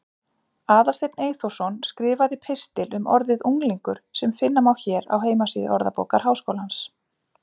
Aðalsteinn Eyþórsson skrifaði pistil um orðið unglingur sem finna má hér á heimasíðu Orðabókar Háskólans.